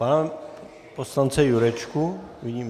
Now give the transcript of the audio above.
Pana poslance Jurečku vidím?